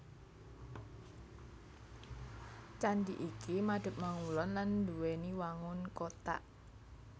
Candhi iki madhep mangulon lan nduwèni wangun kothak